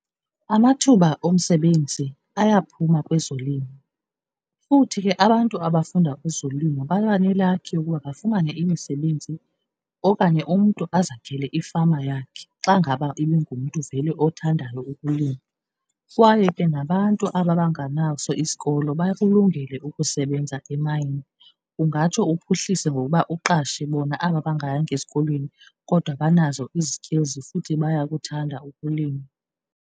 Amathuba omsebenzi ayophuma kwezolimo, futhi ke abantu abafunda ezolimo baba nelakhi ukuba bafumane imisebenzi okanye umntu azakhele ifama yakhe xa ngaba ibingumntu vele othandayo ukulima. Kwaye ke nabantu aba banganaso isikolo bakulungele ukusebenza emayini, kungatsho uphuhlise ngokuba uqashe bona aba bangayanga esikolweni kodwa banazo izikilzi futhi bayakuthanda ukulima.